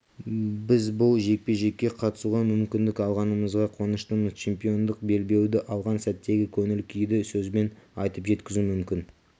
біз бұл жекпе-жекке қатысуға мүмкіндік алғанымызға қуаныштымыз чемпиондық белбеуді алған сәттегі көңіл-күйді сөзбен айтып жеткізу мүмкін